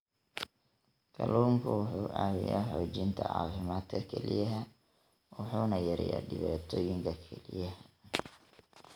Kalluunku wuxuu caawiyaa xoojinta caafimaadka kelyaha wuxuuna yareeyaa dhibaatooyinka kelyaha.